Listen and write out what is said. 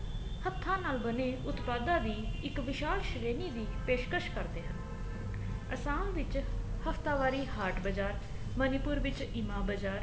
ਹੱਥਾ ਨਾਲ ਬਣੇ ਉਤਪਾਧਾ ਦੀ ਇੱਕ ਵਿਸ਼ਾਲ ਸ਼੍ਰੇਣੀ ਦੀ ਪੈਸ਼ਕਸ਼ ਕਰਦੇ ਹਨ ਅਸਾਮ ਵਿੱਚ ਹਫਤਾਵਾਰੀ ਹਾਟ ਬਾਜਾਰ ਮਨੀਪੁਰ ਵਿੱਚ ਇਮਾ ਬਜ਼ਾਰ